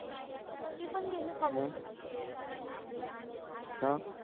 गेले खाली का